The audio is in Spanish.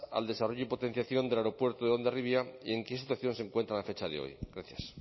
al desarrollo y potenciación del aeropuerto de hondarribia y en qué situación se encuentran a fecha de hoy gracias